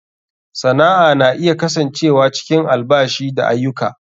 Sana'a na iya kasancewa cikin albashi da aiyuka.